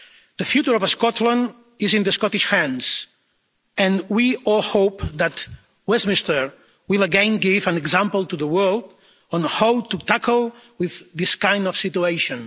The future of Scotland is in Scottish hands and we all hope that Westminster will again give an example to the world of how to tackle this kind of situation.